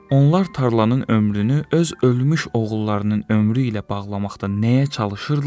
Onlar tarlanın ömrünü öz ölmüş oğullarının ömrü ilə bağlamaqda nəyə çalışırdılar?